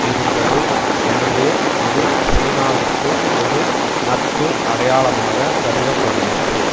இருந்தது எனவே இது சீனாவிற்கு ஒரு நட்பு அடையாளமாக கருத படுகிறது